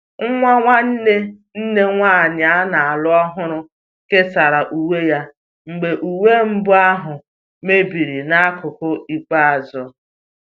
Nwa nwanne nne nwanyị a na-alụ ọhụrụ kesara uwe ya mgbe uwe mbụ ahụ mebiri n'akụkụ ikpeazụ